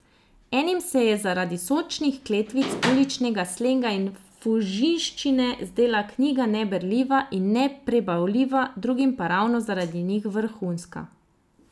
Enim se je zaradi sočnih kletvic, uličnega slenga in fužinščine zdela knjiga neberljiva in neprebavljiva, drugim pa ravno zaradi njih vrhunska.